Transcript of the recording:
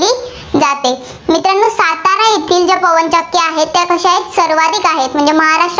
पवन चक्क्या आहेत, कशा आहेत, सर्वाधिक आहेत. म्हणजे